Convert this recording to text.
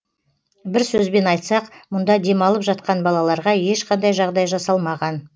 бір сөзбен айтсақ мұнда демалып жатқан балаларға ешқандай жағдай жасалмаған